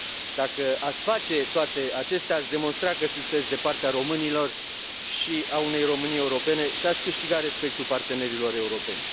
Dacă ați face toate acestea, ați demonstra că sunteți de partea românilor și a unei Românii europene și ați câștiga respectul partenerilor europeni.